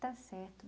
Está certo.